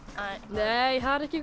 nei það er ekki